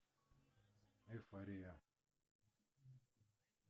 эйфория